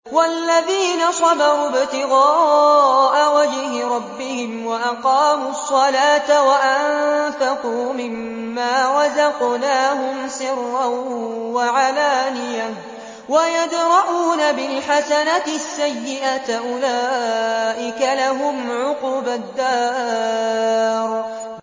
وَالَّذِينَ صَبَرُوا ابْتِغَاءَ وَجْهِ رَبِّهِمْ وَأَقَامُوا الصَّلَاةَ وَأَنفَقُوا مِمَّا رَزَقْنَاهُمْ سِرًّا وَعَلَانِيَةً وَيَدْرَءُونَ بِالْحَسَنَةِ السَّيِّئَةَ أُولَٰئِكَ لَهُمْ عُقْبَى الدَّارِ